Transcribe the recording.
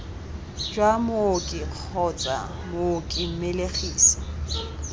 jwa mooki kgotsa mooki mmelegisi